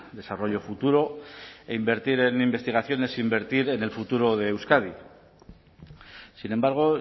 desarrollo futuro e invertir en investigación es invertir en el futuro de euskadi sin embargo